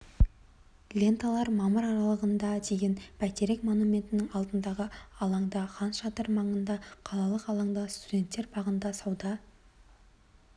ленталар мамыр аралығында дейін бәйтерек монументінің алдындағы алаңда хан шатыр маңында қалалық алаңда студенттер бағында сауда